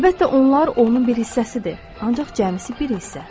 Əlbəttə onlar onun bir hissəsidir, ancaq cəmisi bir hissə.